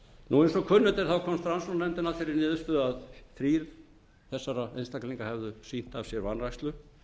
eins og kunnugt er komst rannsóknarnefndin að þeirri niðurstöðu að þrír þessara einstaklinga hefðu sýnt af sér vanrækslu